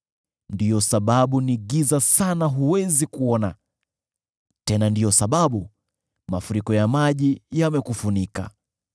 ndiyo sababu ni giza sana huwezi kuona, tena ndiyo sababu mafuriko ya maji yamekufunika.